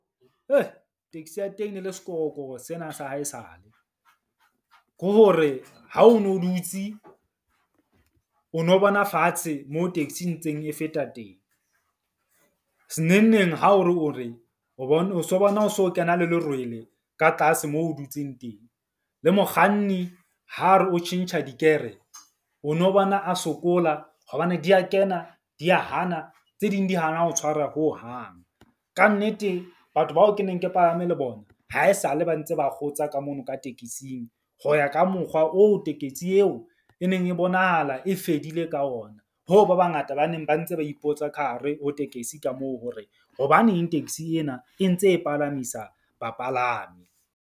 Taxi ya teng e le sekorokoro sena sa haesale. Ke hore, ha o no dutse o no bona fatshe moo taxi e ntseng e feta teng. Se neng neng ha o re o bone o so bona, o so kena le lerwele ka tlase mo o dutseng. Le mokganni ha re o tjhentjha digere, o no bona o sokola hobane di ya kena di ya hana. Tse ding di hana ho tshwara hohang. Ka nnete batho bao ke neng ke palame le bona haesale ba ntse ba kgotsa ka mono ka tekesing. Ho ya ka mokgwa oo tekesi eo e neng e bonahala e fedile ka ona, hoo ba bangata ba neng ba ntse ba ipotsa ka hare ho tekesi ka moo hore hobaneng taxi ena e ntse e palamisa bapalami.